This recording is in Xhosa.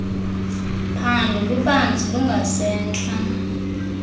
phando lubanzi lungasentla